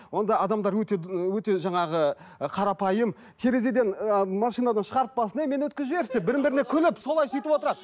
онда адамдар өте жаңағы ы қарапайым терезеден ыыы машинадан шығарып басын өй мені өткізіп жіберші деп бірін біріне күліп солай сөйтівотырады